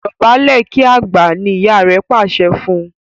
Dobale kí àgbà! ní ìyá rẹ pàṣẹ fún.